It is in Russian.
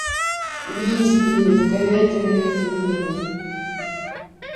бийские с говядиной и свининой